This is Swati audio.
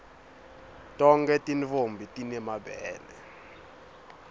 tonkhe tintfombi time mabele